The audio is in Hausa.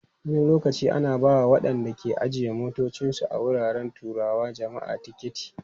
Wani lokaci ana ba wa waɗanda ke ajiye motocinsu a wuraren taruwar jama'a tiketi.